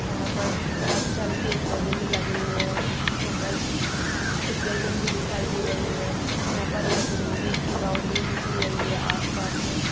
यहाँ पर काफी सारे पेड़ पौधे भी लगे हुए हैं यहाँ पर कुछ बिल्डिंग भी दिखाई दे रही हैं यहाँ पर एक ईट की बाउंड्री भी की गई है आसपास में।